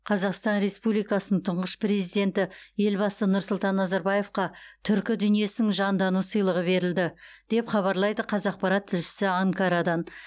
қазақстан республикасының тұңғыш президенті елбасы нұрсұлтан назарбаевқа түркі дүниесінің жандану сыйлығы берілді деп хабарлайды қазақпарат тілшісі анкарадан